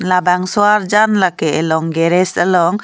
labangso arjan lake elong gares along.